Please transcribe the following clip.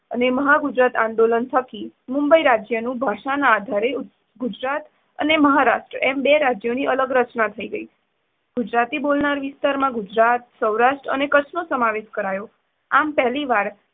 અને મહાગુજરાત આંદોલન થકી મુંબઇ રાજ્યનું ભાષાના આધારે ગુજરાત અને મહારાષ્ટ્ર એમ બે રાજ્યોની અલગ રચના થઇ ગઈ. ગુજરાતી ભાષા બોલનાર વિસ્તારમાં ગુજરાત, સૌરાષ્ટ્ર અને કચ્છનો સમાવેશ કરાયો. આમ પહેલીવાર